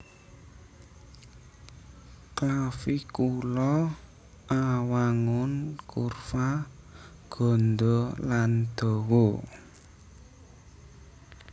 Clavicula awangun kurva gandha lan dawa